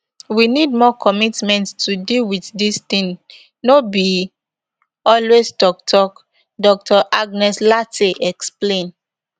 we need more commitment to deal wit dis tin no be always tok tok dr agnes lartey explain